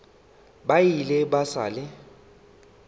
ba ile ba sa le